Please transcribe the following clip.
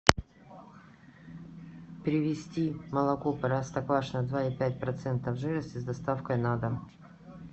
привезти молоко простоквашино два и пять процентов жирности с доставкой на дом